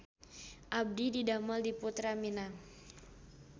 Abdi didamel di Purta Minang